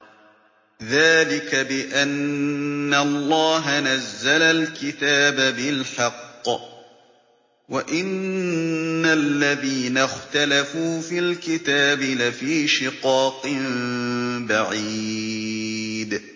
ذَٰلِكَ بِأَنَّ اللَّهَ نَزَّلَ الْكِتَابَ بِالْحَقِّ ۗ وَإِنَّ الَّذِينَ اخْتَلَفُوا فِي الْكِتَابِ لَفِي شِقَاقٍ بَعِيدٍ